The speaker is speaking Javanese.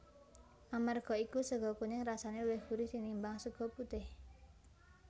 Amarga iku sega kuning rasane luwih gurih tinimbang sega putih